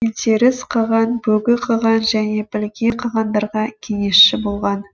елтеріс қаған бөгі қаған және білге қағандарға кеңесші болған